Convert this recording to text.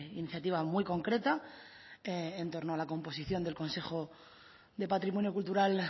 iniciativa muy concreta que en torno a la composición del consejo de patrimonio cultural